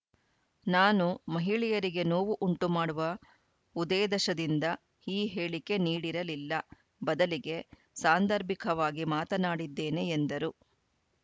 ನಾನು ಮಹಿಳೆಯರಿಗೆ ನೋವು ಉಂಟು ಮಾಡುವ ಉದೇದಶದಿಂದ ಈ ಹೇಳಿಕೆ ನೀಡಿರಲಿಲ್ಲ ಬದಲಿಗೆ ಸಾಂದರ್ಭಿಕವಾಗಿ ಮಾತನಾಡಿದ್ದೇನೆ ಎಂದರು